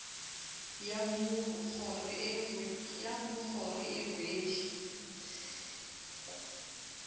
ya mmu kgoro e rwele